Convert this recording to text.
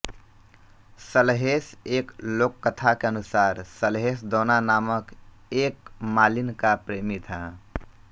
सलहेस एक लोककथा के अनुसार सलहेस दौना नामक एक मालिन का प्रेमी था